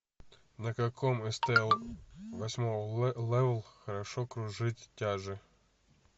на каком с т о восьмого левел хорошо кружить тяжи